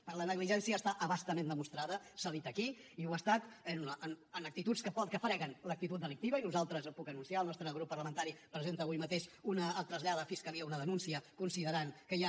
però la negligència està a bastament demostrada s’ha dit aquí i ho ha estat en actituds que freguen l’actitud delictiva i nosaltres ho puc anunciar el nostre grup parlamentari presenta avui mateix trasllada a la fiscalia una denúncia considerant que hi ha